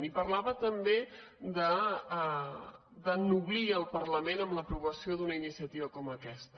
i parlava també d’ennoblir el parlament amb l’aprovació d’una iniciativa com aquesta